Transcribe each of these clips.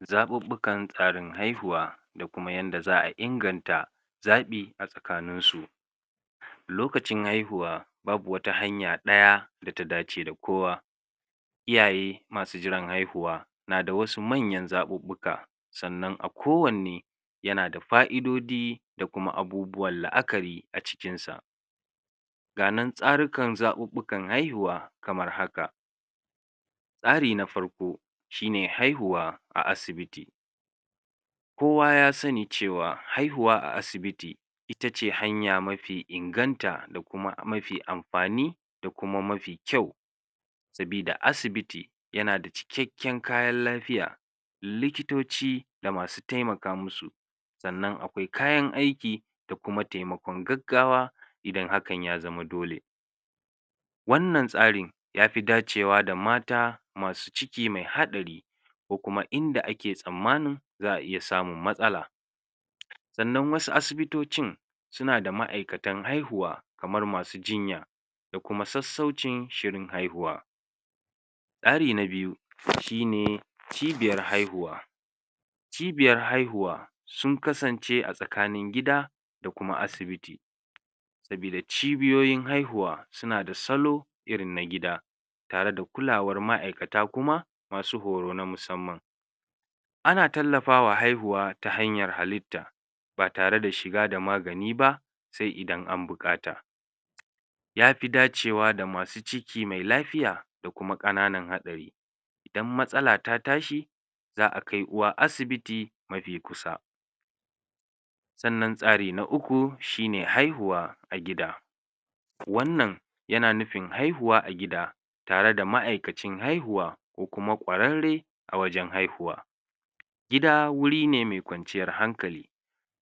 zaɓuɓɓukan tsarin haihuwa da kuma yanda za'a inganta zaɓi a tsakanin su lokacin haihuwa babu wata hanya ɗaya data dace da kowa iyaye masu jiran haihuwa na da wasu manyan zaɓuɓɓuka sannan a ko wanne yana da fa'idodi da kuma abubuwan la'akari a cikin sa ga nan tsarikan zaɓuɓɓukan haihuwa kamar haka tsari na farko shine haihuwa a asibiti kuwa ya sani cewa haihuwa a asibiti itace hanya mafi inganta da kuma mafi amfani da kuma mafi kyau sabida asibiti yanada cikakken kayan lafiya likitoci da masu taimaka musu sannan akwai kayan aiki da kuma taimakon gaggawa idan hakan ya zama dole wannan tsarin yafi dacewa da mata masu ciki me me haɗari ko kuma inda ake tsammanin za'a iya samun matsala sannan wasu asibitocin suna da ma'aikatan haihuwa kamar masu jinya da kuma sassaucin shirin haihuwa tsari na biyu shine cibiyar haihuwa cibiyar haihuwa sun kasance a tsakanin gida da kuma asibiti sabida cibiyoyin haihuwa suna da salo irin na gida tare da kulawar ma'aikata masu horo na musamman ana tallafawa haihuwa ta hanyar halitta ba tare da shiga da magani ba se idan an buƙata yafi dacewa da masu ciki me lafiya da kuma ƙananan haɗari idan matsala ta tashi za'a kai uwa asibiti mafi kusa sannan tsari na uku shine haihuwa a gida wannan yana nufin haihuwa a gida tare da ma''aikacin haihuwa ko kuma ƙwararre a wajan haihuwa gida guri ne me ƙwanciyar hankali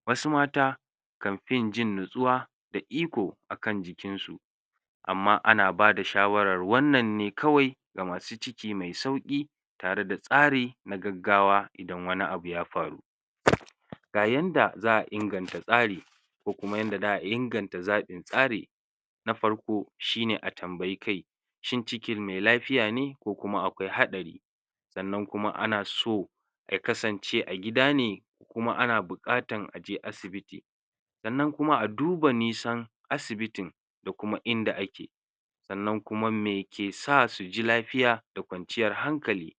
wasu mata kanfin jin nutsuwa da iko akan jikin su amma ana bada shawarar wannan ne kawai ga masu ciki me sauƙi tare da tsari na gaggawa idan wani abu ya faru ga yanda za'a inganta tsari ko kuma yanda za'a inganta zaɓin tsarin na farko shine a tambayi kai shin cikin me lafiya ne ko kuma akwai haɗari sannan kuma ana so ya kasance a gida ne ko kuma ana buƙatan aje asibiti sannan kuma a duba nisan asibitin da kuma inda ake sannan kuma me ka sa suji lafiya da kwanciyar hankali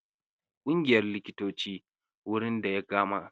ƙungiyar likitoci gurin daya dama